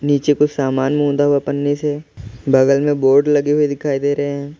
नीचे कुछ सामान मुंडा हुआ पनी से बगल में बोर्ड लगी हुई दिखाई दे रहे है।